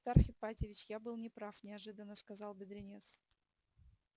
аристарх ипатьевич я был не прав неожиданно сказал бедренец